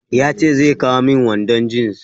Ya ce zai kawo min wandon jins.